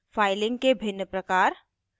filing के भिन्न प्रकार